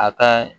A ka